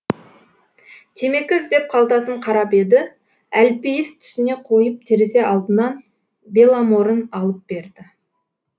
темекі іздеп қалтасын қарап еді әлпейіс түсіне қойып терезе алдынан беломорын алып берді